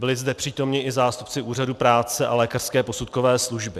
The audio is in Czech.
Byli zde přítomni i zástupci Úřadu práce a lékařské posudkové služby.